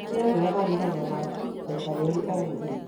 Tigĩrĩra niwathambia magego maku maita merĩ o mũthenya.